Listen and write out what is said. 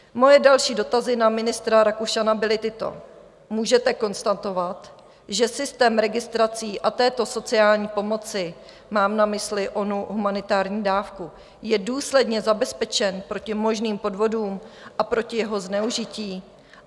Moje další dotazy na ministra Rakušana byly tyto: Můžete konstatovat, že systém registrací a této sociální pomoci, mám na mysli onu humanitární dávku, je důsledně zabezpečen proti možným podvodům a proti jeho zneužití?